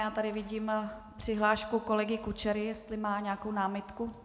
Já tady vidím přihlášku kolegy Kučery, jestli má nějakou námitku.